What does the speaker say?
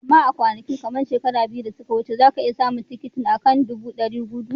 Amma a kwanakin, kamar shekaru biyu da suka wuce, za ka iya samun tikitin, a kan dubu dari gudu.